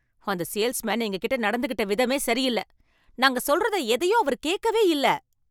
அந்த சேல்ஸ்மேன் எங்ககிட்ட நடந்துகிட்ட விதமே சரியில்ல, நாங்க சொல்றத எதையும் அவரு கேக்கவே இல்ல.